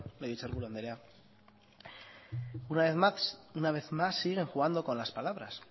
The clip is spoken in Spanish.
legebiltzarburu anderea una vez más siguen jugando con las palabras